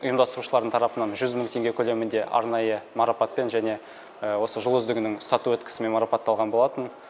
ұйымдастырушылар дың тарапынан жүз мың теңге көлемінде арнайы марапатпен және осы жыл үздігінің статуэткасымен марапатталған болатын